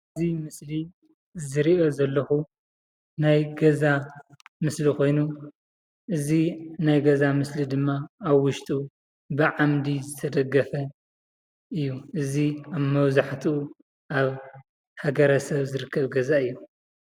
እዚ ምስሊ ዝርኦ ዘሎኩ ናይ ገዛ ምስሊ ኮይኑ እዚ ናይ ገዛ ምስሊ ደማ ኣብ ዉሽጡ ብዓንዲ ዝተደገፈ እዩ፡፡ እዚ ኣብ መብዛሕቱኡ ኣብ ሃገረሰብ ዝርክብ ገዛ እዩ፡፡